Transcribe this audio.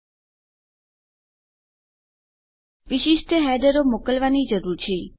આપણે વિશિષ્ટ હેડરો મોકલવાની જરૂર છે